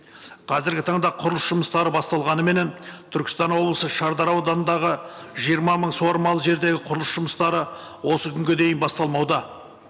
қазіргі таңда құрылыс жұмыстары басталғаныменен түркістан облысы шардара ауданындағы жиырма мың суармалы жердегі құрылыс жұмыстары осы күнге дейін басталмауда